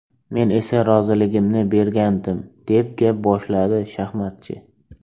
Men esa roziligimni bergandim”, deb gap boshladi shaxmatchi.